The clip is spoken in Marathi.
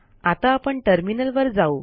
आता आपण टर्मिनल वर जाऊ